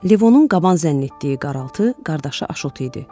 Levonun qaban zənn etdiyi qaraltı qardaşı Aşot idi.